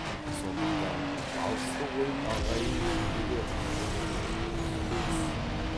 сондықтан алысты қойып ағайын ішінде де бұны білетін жан аз